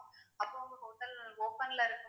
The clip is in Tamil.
அப்போ உங்க hotel open ல இருக்குமா?